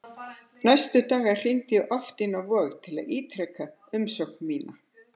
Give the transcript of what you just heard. Næstu daga hringdi ég oft inn á Vog til að ítreka umsókn mína.